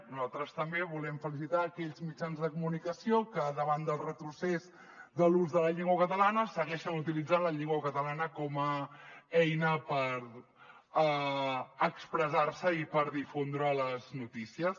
nosaltres també volem felicitar aquells mitjans de comunicació que davant del retrocés de l’ús de la llengua catalana segueixen utilit·zant la llengua catalana com a eina per expressar·se i per difondre les notícies